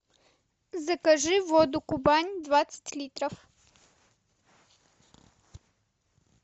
закажи воду кубань двадцать литров